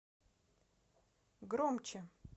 громче